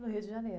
No Rio de Janeiro.